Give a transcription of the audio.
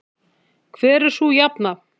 Hver er sú jafna?